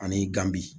Ani gan bi